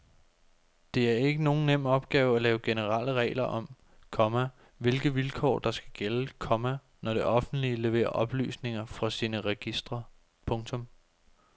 Det er ikke nogen nem opgave at lave generelle regler om, komma hvilke vilkår der skal gælde, komma når det offentlige leverer oplysninger fra sine registre. punktum